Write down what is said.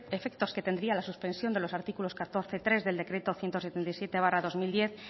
efectos que tendría la suspensión de los artículos catorce punto tres del decreto ciento setenta y siete barra dos mil diez